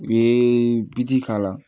U ye biji k'a la